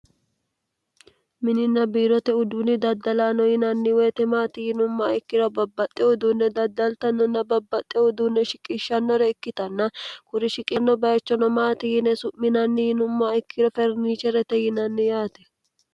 mini nabiirote uduunni daddalaano yinanni woyitemaati yinummaa ikkiro babbaxxe uduunne daddaltannonna babbaxxe uduunne shiqishshannore ikkitanna kuri shiqisanno bayichonomaati yine su'minanni yinummaa ikkiro ferniche rete yinanni yaate